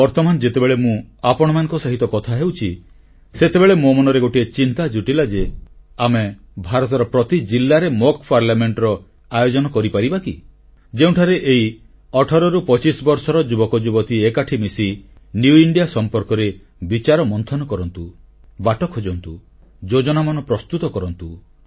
ବର୍ତ୍ତମାନ ଯେତେବେଳେ ମୁଁ ଆପଣମାନଙ୍କ ସହିତ କଥା ହେଉଛି ସେତେବେଳେ ମୋ ମନରେ ଗୋଟିଏ ଚିନ୍ତା ଜୁଟିଲା ଯେ ଆମେ ଭାରତର ପ୍ରତି ଜିଲ୍ଲାରେ ଅଭ୍ୟାସ ସଂସଦMock Parliamentର ଆୟୋଜନ କରିପାରିବା କି ଯେଉଁଠାରେ ଏହି 18ରୁ 25 ବର୍ଷର ଯୁବକଯୁବତୀ ଏକାଠି ମିଶି ନୂଆ ଭାରତ ସମ୍ପର୍କରେ ବିଚାର ମନ୍ଥନ କରନ୍ତୁ ବାଟ ଖୋଜନ୍ତୁ ଯୋଜନାମାନ ପ୍ରସ୍ତୁତ କରନ୍ତୁ